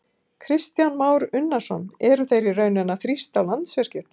Kristján Már Unnarsson: Eru þeir í rauninni að þrýsta á Landsvirkjun?